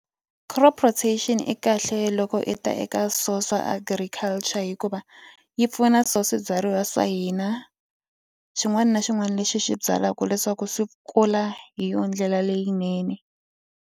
Crop rotation i kahle loko i ta eka swo swa agriculture hikuva yi pfuna swo swibyariwa swa hina xin'wana na xin'wana lexi xi byalaka leswaku swi kula hi yona ndlela leyinene.